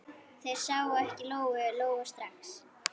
Þær sáu ekki Lóu-Lóu strax.